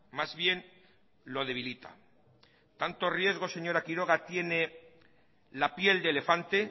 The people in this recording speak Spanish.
más bien lo debilita tanto riesgo señora quiroga tiene la piel de elefante